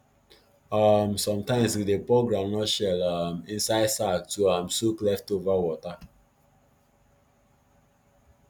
um sometimes we dey pour groundnut shell um inside sack to um soak leftover water